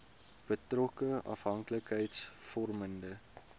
betrokke afhanklikheids vormende